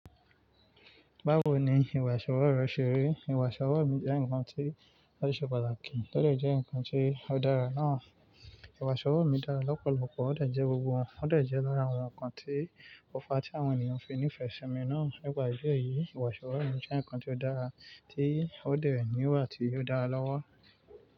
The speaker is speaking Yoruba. Báwo ni ìwà ìṣọwọ́ rẹ ṣe rí? Ìwà ìṣọwọ́ mi jẹ́ nǹkan tí ó ṣe pàtàkì, ó lè jẹ́ nǹkan tí ó dára náà. Ìwà ìṣọwọ́ mi dára lọ́pọ̀lọpọ̀, ó dè jẹ́ lára àwọn nǹkan tí òfa tí àwọn ènìyàn fi ní ìfẹ́ simi náà. Nípa ìdí èyí, ìwà ìṣọwọ́ mi jẹ́ nǹkan tí ó dára tí ó dè níwà tí yóò dára lọ́wọ́.